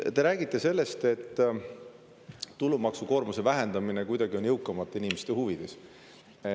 Te räägite sellest, et tulumaksukoormuse vähendamine on kuidagi jõukamate inimeste huvides.